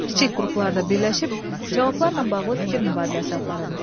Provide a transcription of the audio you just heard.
Kiçik qruplarda birləşib cavablarla bağlı fikir mübadiləsi aparın.